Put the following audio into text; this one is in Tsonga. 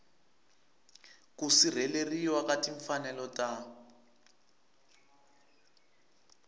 ku sirheleriwa ka timfanelo ta